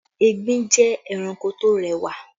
Egbin jẹ́ ẹranko tó rẹwà